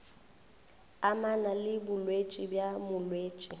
amana le bolwetši bja molwetši